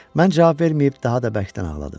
Mən cavab verməyib daha da bərkdən ağladım.